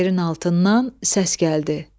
Yerin altından səs gəldi.